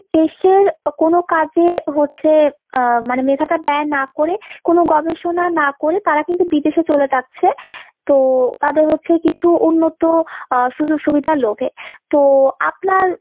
দেশের কোনো কাজে হচ্ছে আহ মানে মেধাটা ব্যয় না করে কোনো গবেষণা না করে তারা কিন্তু বিদেশে চলে যাচ্ছে। তো তাদের হচ্ছে কিছু উন্নত আ সুযোগ সুবিধার লোভে। তো আপনার